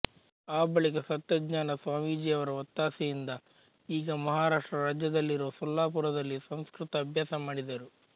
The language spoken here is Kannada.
ಆ ಬಳಿಕ ಸತ್ಯಜ್ಞಾನ ಸ್ವಾಮೀಜಿಯವರ ಒತ್ತಾಸೆಯಿಂದ ಈಗ ಮಹಾರಾಷ್ಟ್ರ ರಾಜ್ಯದಲ್ಲಿರುವ ಸೊಲ್ಲಾಪುರದಲ್ಲಿ ಸಂಸ್ಕೃತ ಅಭ್ಯಾಸ ಮಾಡಿದರು